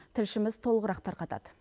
тілшіміз толығырақ тарқатады